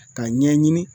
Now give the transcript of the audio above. Ka ɲɛɲini